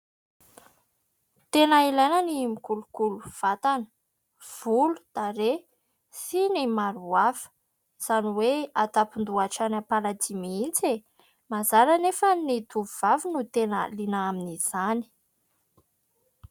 Tena ilaina ny mikolokolo vatana, volo, tarehy sy ny maro hafa. Izany hoe an-tampon-doha hatrany am-paladia mihitsy. Mazàna anefa ny tovovavy no tena liana amin'izany.